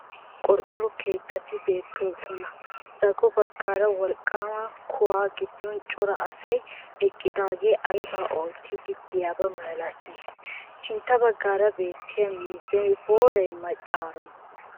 Naa"u qorqqoro keettati beettoosona zago baggaara wolqqaama kuhaa giddon cora asay eqqidaagee aybaa oottiiddi de'iyaba milatii? Sintta baggaara beettiya miizzay booreeyye maccaroni?